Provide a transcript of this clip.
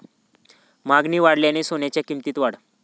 मागणी वाढल्याने सोन्याच्या किंमतीत वाढ